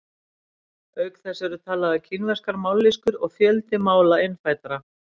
Auk þess eru talaðar kínverskar mállýskur og fjöldi mála innfæddra.